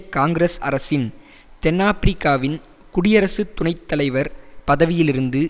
காங்கிரஸ் அரசின் தென் ஆபிரிக்காவின் குடியரசு துணை தலைவர் பதவியிலிருந்து